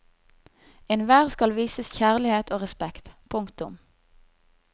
Enhver skal vises kjærlighet og respekt. punktum